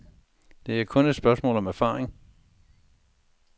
Det er kun et spørgsmål om erfaring.